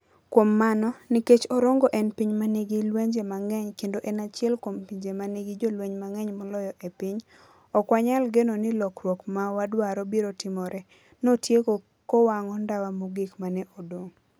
Kuom mano, nikech Orongo en piny ma nigi lwenje mang'eny kendo en achiel kuom pinje ma nigi jolweny mang'eny moloyo e piny, ok wanyal geno ni lokruok ma wadwaro biro timore, notieko kowang'o ndawa mogik ma ne odong'.